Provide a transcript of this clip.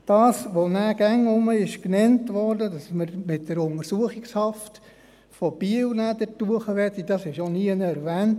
Was auch immer wieder genannt wurde, dass wir nachher mit der Untersuchungshaft von Biel dorthin wollten, ist hier auch nirgends erwähnt.